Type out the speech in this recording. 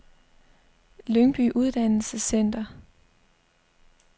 Lyngby Uddannelsescenter